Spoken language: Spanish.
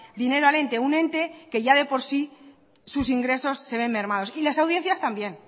dinero al ente un ente que ya de por sí sus ingresos se ven mermados y las audiencias también